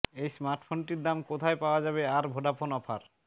এই স্মার্টফোনটির দাম কোথায় পাওয়া যাবে আর ভোডাফোন অফার